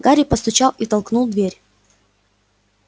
гарри постучал и толкнул дверь